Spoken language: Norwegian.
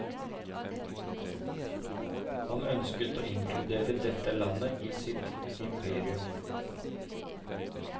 Han ønsket å inkludere dette landet i sitt imperium.